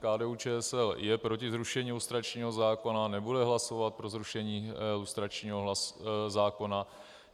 KDU-ČSL je proti zrušení lustračního zákona, nebude hlasovat pro zrušení lustračního zákona.